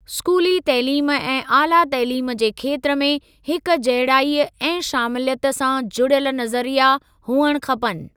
स्कूली तइलीम ऐं ऑला तइलीम जे खेत्र में हिक जहिड़ाई ऐं शामिलियत सां जुड़ियल नज़रिया हुअणु खपनि।